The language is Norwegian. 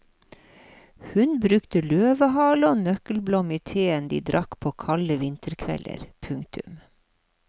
Hun brukte løvehale og nøkkelblom i teen de drakk på kalde vinterkvelder. punktum